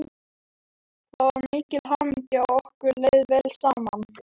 Það var mikil hamingja og okkur leið vel saman.